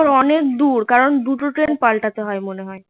অনেক দূর দুটো ট্রেন পাল্টাতে হয় মনে হয়